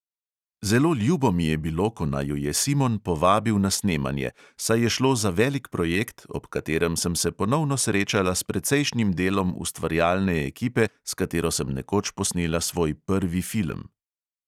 Zelo ljubo mi je bilo, ko naju je simon povabil na snemanje, saj je šlo za velik projekt, ob katerem sem se ponovno srečala s precejšnjim delom ustvarjalne ekipe, s katero sem nekoč posnela svoj prvi film.